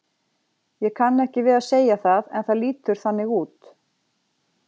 Ég kann ekki við að segja það en það lítur þannig út.